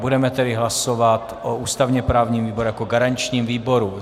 Budeme tedy hlasovat o ústavně-právním výboru jako garančním výboru.